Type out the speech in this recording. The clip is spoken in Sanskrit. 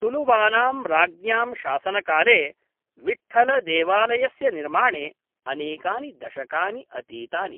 तुलुवानां राज्ञां शासनकाले विट्ठळदेवालयस्य निर्माणे अनेकानि दशकानि अतीतानि।